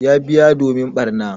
Ya biya domin barna.